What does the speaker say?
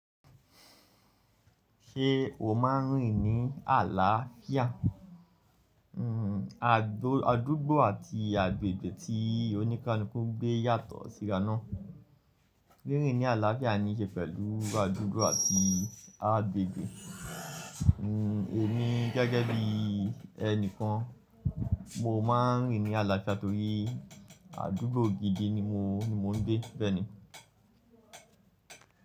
Ṣé o máa ń rìn ní àlàáfíà? Adúgbò àti agbègbè tí oníkánukún gbé yàtọ̀ síra ná. Rírìn ní àlàáfíà ní í ṣe pẹ̀lú adúgbò àti agbègbè. Èmi gẹ́gẹ́ bí ẹni kan, mo máa ń rìn ní àlàáfíà torí adúgbò gidi ni mo ń, ni mo ń gbé bẹ́ẹ̀ni.